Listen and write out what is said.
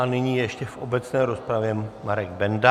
A nyní ještě v obecné rozpravě Marek Benda.